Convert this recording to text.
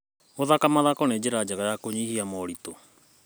Gũthaka mathako nĩ njĩra njega ya kũnyihia moritũ.